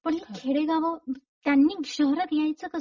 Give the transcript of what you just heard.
पण ही खेडेगांव त्यांनी शहरात यायचं कस?